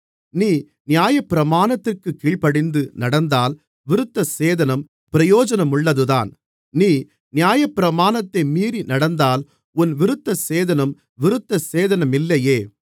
நீ நியாயப்பிரமாணத்திற்கு கீழ்ப்படிந்து நடந்தால் விருத்தசேதனம் பிரயோஜனமுள்ளதுதான் நீ நியாயப்பிரமாணத்தை மீறிநடந்தால் உன் விருத்தசேதனம் விருத்தசேதனமில்லையே